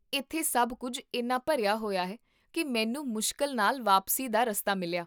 ਇੱਥੇ ਸਭ ਕੁੱਝ ਇੰਨਾ ਭਰਿਆ ਹੋਇਆ ਹੈ, ਕੀ ਮੈਨੂੰ ਮੁਸ਼ਕਿਲ ਨਾਲ ਵਾਪਸੀ ਦਾ ਰਸਤਾ ਮਿਲਿਆ